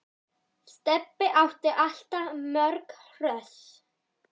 Stebbi átti alltaf mörg hross.